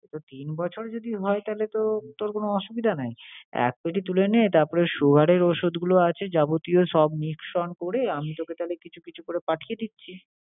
তো তিন বছর যদি হয় তাইলে তো তোর কোন অসুবিধা নাই। এক peti তুলে নে তারপরে sugar এর ওষুধগুলো আছে যাবতীয় সব mix on করে আমি তোকে তাহলে কিছু কিছু করে পাঠিয়ে দিচ্ছি।